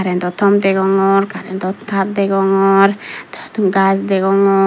karentow tom degongor karentow tar degong gaj degong.